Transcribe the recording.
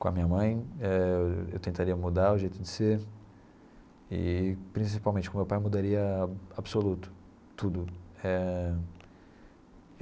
Com a minha mãe, eh eu tentaria mudar o jeito de ser e, principalmente, com o meu pai, mudaria absoluto tudo eh.